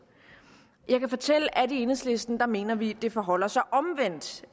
jeg kan fortælle at i enhedslisten mener vi det forholder sig omvendt